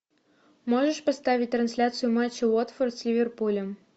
можешь поставить трансляцию матча уотфорд с ливерпулем